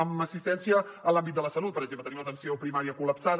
en assistència en l’àmbit de la salut per exemple tenim l’atenció primària collapsada